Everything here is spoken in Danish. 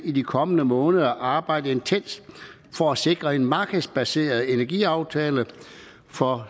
i de kommende måneder vil arbejde intenst for at sikre en markedsbaseret energiaftale for